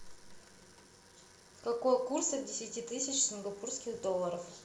какой курс от десяти тысяч сингапурских долларов